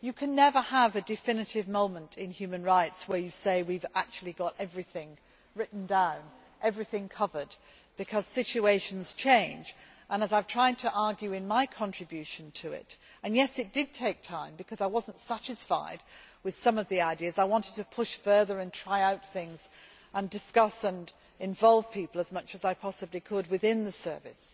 You can never have a definitive moment in human rights where you say that we have actually got everything written down and everything covered, because situations change. As I have tried to argue in my contribution to it and, yes, it did take time because I was not satisfied with some of the ideas and I wanted to push further and try out things and discuss and involve people as much as I possibly could within the service